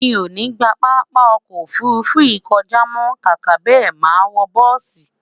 mí o ní gbà pápá ọkọ òfurufú yìí kọjá mọ, kàkà bẹ, má wò bùsi